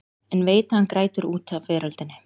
En veit að hann grætur út af veröldinni.